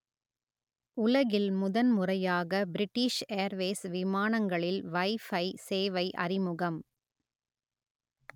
உலகில் முதன் முறையாக பிரிட்டிஷ் ஏர்வேஸ் விமானங்களில் வைஃபை சேவை அறிமுகம்